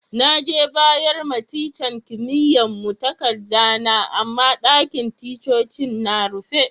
Na je bayar ma tican kimiyya'n mu takada na, amma ɗakin ticcocin na rufe.